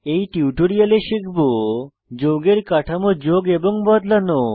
এই টিউটোরিয়ালে শিখব যৌগের কাঠামো যোগ এবং বদলানো